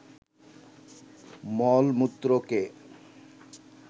মল-মূত্রকে